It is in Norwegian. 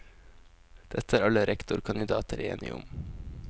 Dette er alle rektorkandidater enige om.